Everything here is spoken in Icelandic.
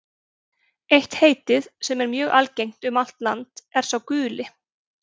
Eitt heitið, sem er mjög algengt um allt land, er sá guli.